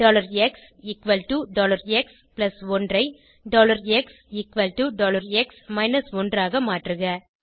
xx1 ஐ xx 1 ஆக மாற்றுக